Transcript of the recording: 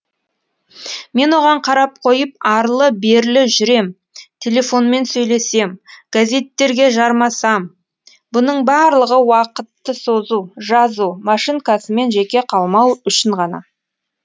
мен оған қарап қойып арлы берлі жүрем телефонмен сөйлесем газеттерге жармасам бұның барлығы уақытты созу жазу машинкасымен жеке қалмау үшін ғана